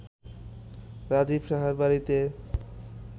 রাজীব সাহার বাড়ীতে